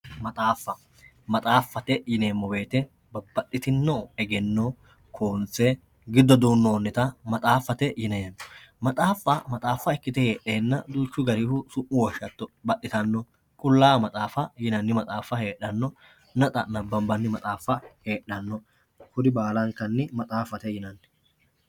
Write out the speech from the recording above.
maxaafa maxaafate yineemo woyiite babbaxitinno egenno hororse giddo duunoonita maxaafate yineemo maxaafa maxaafa ikkite heexenna duuchu garihu su'mu woshshatto baxxitanno qulaawa maxaafa yinanni maxaafa hexxanno natsa nabanbani maxaafa heexxanno kuri baalankanni maxaafate yinann.